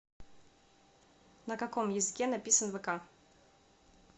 на каком языке написан вк